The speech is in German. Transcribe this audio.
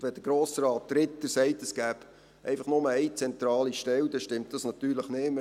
Und wenn Grossrat Ritter sagt, es gebe einfach nur eine zentrale Stelle, dann stimmt das natürlich nicht.